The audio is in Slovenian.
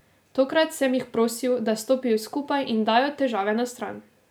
Tokrat sem jih prosil, da stopijo skupaj in dajo težave na stran.